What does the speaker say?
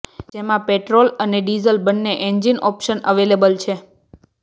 જેમા પેટ્રોલ અને ડિઝલ બંન્ને એન્જીન ઓપ્શન અવેલેબલ છે